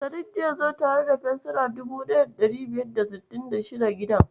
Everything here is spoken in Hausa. Sadik zai zo tare da fensira 1566 gidan.